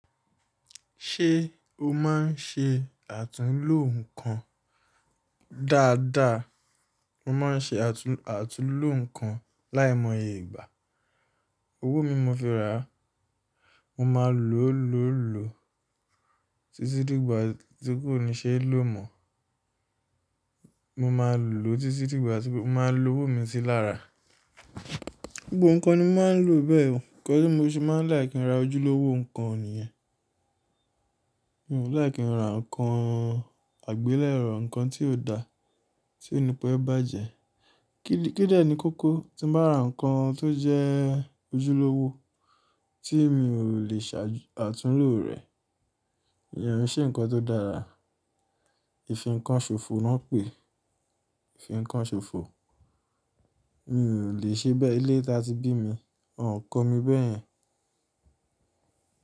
Ṣé o máa ń ṣe àtúnlò nǹkan dáadáa? Mo máa ń ṣe àtúnlò nǹkan láìmọye ìgbà. Owó mi mo fi ra, mo máa lò ó lọ́lọ́ọ́, títí dígbà tí kò ní ṣe é lò mọ̀. Mo máa lò ó títí dígbà tí mo máa lo owó mi sí lára. Gbogbo nǹkan ni mo máa ń lò bẹ́ẹ̀ oo, nǹkan tí mo ṣe máa ń like kin ra ojúlówó nǹkan nìyẹn. Mi ò fi like kin ra nǹkan àgbélẹ̀rọ, nǹkan tí ò dáa, tí onípẹ̀ẹ́ bàjẹ́. Kídẹ́ ni kókó, tí n bá ra nǹkan tó jẹ́ ojúlówó tí mi ò lè ṣàtúnlò rẹ̀. Ìyẹn on ṣe nǹkan tó dára, ìfìnkanṣòfo náà pèé, ìfìnkanṣòfo. N lè ṣe bẹ́ẹ̀, ilé tá ti bí mi woń o kọ́ mi bẹ́ẹ̀ yẹn.